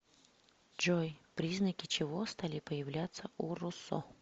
джой признаки чего стали появляться у руссо